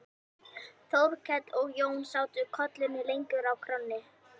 Þórkell og Jón sátu kollunni lengur á kránni.